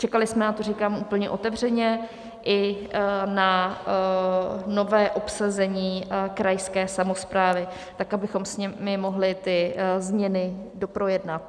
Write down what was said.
Čekali jsme na to, říkám úplně otevřeně, i na nové obsazení krajské samosprávy, tak abychom s nimi mohli ty změny doprojednat.